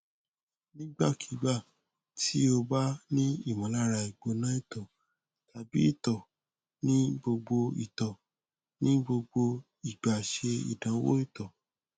nigbakigba ti o ba ni imolara igbona ito tabi ito ni gbogbo ito ni gbogbo igba se idanwo ito